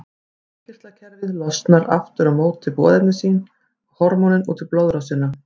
Innkirtlakerfið losar aftur á móti boðefni sín, hormónin, út í blóðrásina.